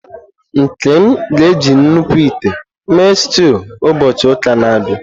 Nkem ga-eji nnukwu ite mee stew ụbọchị ụka na-abịa.